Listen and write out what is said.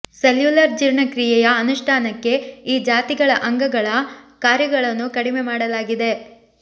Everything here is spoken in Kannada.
ಸೆಲ್ಯುಲರ್ ಜೀರ್ಣಕ್ರಿಯೆಯ ಅನುಷ್ಠಾನಕ್ಕೆ ಈ ಜಾತಿಗಳ ಅಂಗಗಳ ಕಾರ್ಯಗಳನ್ನು ಕಡಿಮೆ ಮಾಡಲಾಗಿದೆ